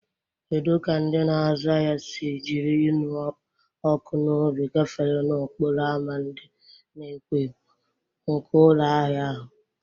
Kedu ka ndị na-azụ ahịa si jiri ịnụ ọkụ n'obi gafere n'okporo ámá ndị na-ekwo ekwo nke ụlọ ahịa ahụ?